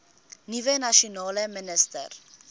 nuwe nasionale minister